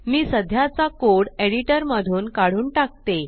मी सध्याचा code editor मधून काढून टाकते